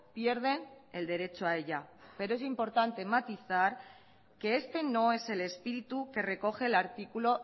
pierden el derecho a ella pero es importante matizar que este no es el espíritu que recoge el artículo